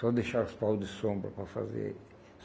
Só deixar os pau de sombra para fazer.